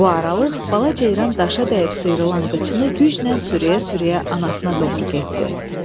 Bu aralıq bala ceyran daşa dəyib sıyrılan qayçını gücnə sürüyə-sürüyə anasına doğru getdi.